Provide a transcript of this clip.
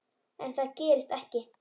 En það gerist ekki.